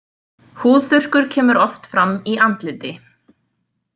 Húðþurrkur kemur oft fram í andliti.